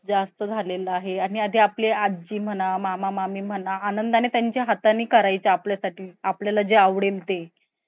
जास्त झालेला आहे आणि आजी म्हणा मामा मामी म्हणा आनंदाने त्यांच्या हाताने करायचे आपल्यासाठी आपल्याला जे आवडेल ते